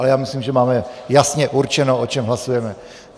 A já myslím, že máme jasně určeno, o čem hlasujeme.